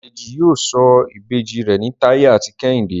Deji yíò sọ Ìbejì rẹ ní Taye àti Kehinde.